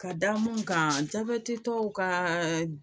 Ka da mun kan jabɛti tɔw ka